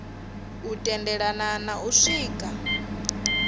u tendelana na u swika